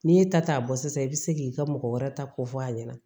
N'i ye ta ta bɔ sisan i bɛ se k'i ka mɔgɔ wɛrɛ ta ko fɔ a ɲɛna